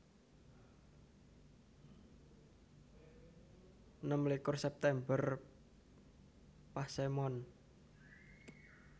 Enem likur September Pasemon